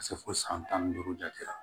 Ka se fo san tan ni duuru jate la